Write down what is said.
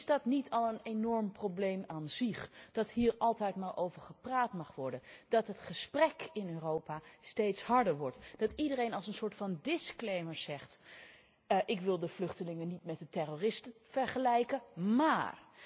Maar is dat niet al een enorm probleem dat hier altijd maar over gepraat mag worden, dat het gesprek in Europa steeds harder wordt, dat iedereen als een soort van zegt ik wil de vluchtelingen niet met de terroristen vergelijken, maar